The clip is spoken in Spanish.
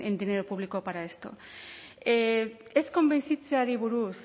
dinero público para esto ez konbentzitzeari buruz